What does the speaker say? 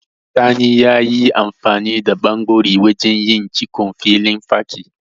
Sani yayi amfani da ɓanɓori wajen yin cikon filin fakin.